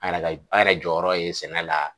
An yɛrɛ ka an yɛrɛ jɔyɔrɔ ye sɛnɛ la.